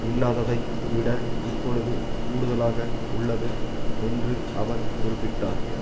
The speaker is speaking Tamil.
இல்லாததை விட இப்பொழுது கூடுதலாக உள்ளது என்று அவர் குறிப்பிட்டார்